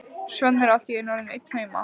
Svenni er allt í einu orðinn einn heima!